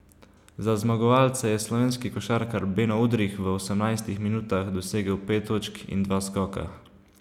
Za zmagovalce je slovenski košarkar Beno Udrih v osemnajstih minutah dosegel pet točk in dva skoka.